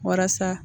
Walasa